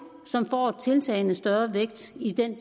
som får tiltagende vægt i den